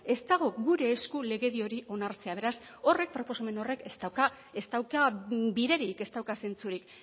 ez dago gure esku legedi hori onartzea beraz horrek proposamen horrek ez dauka ez dauka biderik ez dauka zentzurik